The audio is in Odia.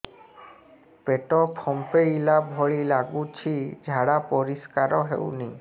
ପେଟ ଫମ୍ପେଇଲା ଭଳି ଲାଗୁଛି ଝାଡା ପରିସ୍କାର ହେଉନି